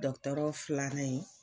Dɔgɔtɔrɔ filanan in.